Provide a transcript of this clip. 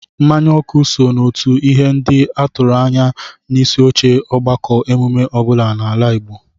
Mmanya ọkụ so n'otu ihe ndị a tụrụ anya n'isioche ọgbakọ emume ọ bụla n'ala Igbo